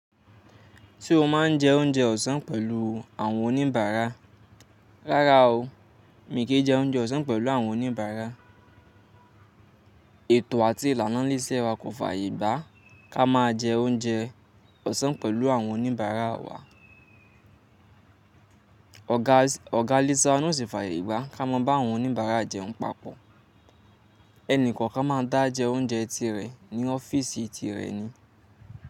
Se o má ń jẹ oúnjẹ ọ̀sán pẹ̀lú àwọn oníbàárà. Rárá o, mí kì í jẹ oúnjẹ ọ̀sán pẹ̀lú àwọn oníbàárà. Ètò àti ìlànà ilé iṣẹ́ wa kò fàyè gbá kí a máa jẹ oúnjẹ ọ̀sán pẹ̀lú àwọn oníbàárà wa. Ọ̀gá Lisa ó sì fàyè gbá kí a máa bá àwọn oníbàárà jẹun papọ̀. Ẹni kọ̀ọ̀kan máa ń dá jẹ oúnjẹ tirẹ̀ ní ọ́fíìsì tirẹ̀ ni.